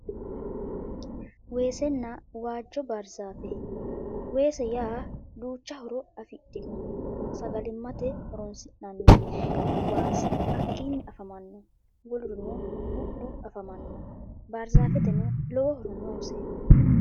Weesenna waajjo barzaafe weese yaa duucha horo afidhino sagalimate horoonsi'nani waasi hakkiinni afamano wolurino bu'lu afamano barzaafeteno lowo horo noose